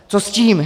Co s tím?